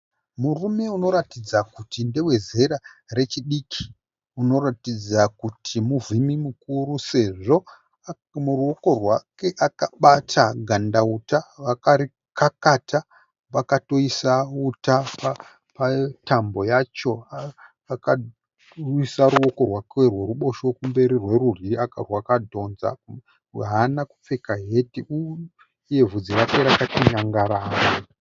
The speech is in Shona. Murume unoratidza kuti ndewe zera rechiki unoratidza kuti muvhimi mukuru sezvo muruoko rwake akabata gandauta akarikakata pakatoisa uta patambo yacho akaisa ruoko rwake rwerubosho kumberi rwerudyi rwakadhonza, haana kupfeka heti iye bvudzi rake rakati nyangara.